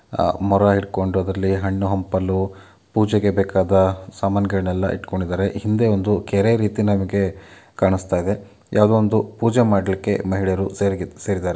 ಮೊರ ಹಿಡಕೊಂಡು ಅದ್ರಲ್ಲಿ ಹಣ್ಣು ಹಂಪಲು ಪೂಜೆಗೆ ಬೇಕಾದ ಸಾಮಾನ್ ಗಳ್ ನೆಲ್ಲ ಇಟ್ಟುಕೊಂಡಿದ್ದಾರೆ ಹಿಂದೆ ಒಂದು ಕೆರೆ ರೀತಿ ನಮಗೆ ಕಾಣಿಸ್ತಾ ಇದೆ ಯಾವುದೋ ಒಂದು ಪೂಜೆ ಮಾಡಲಿಕ್ಕೆ ಮಹಿಳೆಯರು ಸೇರಿದ್ದಾರೆ.